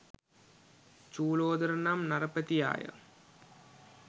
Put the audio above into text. චූලෝදර නම් නරපතියාය.